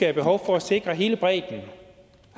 er behov for at sikre hele bredden